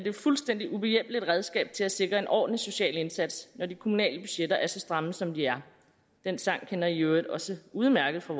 et fuldstændig ubehjælpeligt redskab til at sikre en ordentlig social indsats når de kommunale budgetter er så stramme som de er den sang kender i i øvrigt også udmærket fra